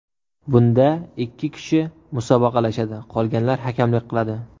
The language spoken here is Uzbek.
Bunda ikki kishi musobaqalashadi, qolganlar hakamlik qiladi.